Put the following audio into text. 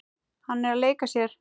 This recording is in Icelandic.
Hann er að leika sér.